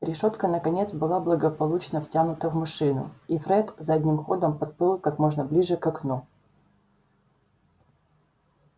решётка наконец была благополучно втянута в машину и фред задним ходом подплыл как можно ближе к окну